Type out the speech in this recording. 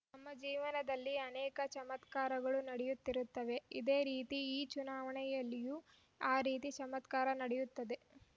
ನಮ್ಮ ಜೀವನದಲ್ಲಿ ಅನೇಕ ಚಮತ್ಕಾರಗಳು ನಡೆಯುತ್ತಿರುತ್ತವೆ ಇದೇ ರೀತಿ ಈ ಚುನಾವಣೆಯಲ್ಲಿಯೂ ಆ ರೀತಿಯ ಚಮತ್ಕಾರ ನಡೆಯುತ್ತದೆ